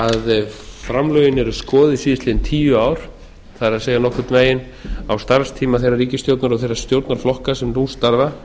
ef framlögin eru skoðuð síðastliðin tíu ár það er nokkurn veginn á starfstíma þeirrar ríkisstjórnar og þeirra stjórnarflokka sem nú starfa